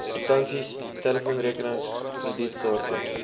kwitansies telefoonrekenings kredietkaarte